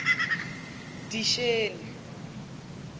disheni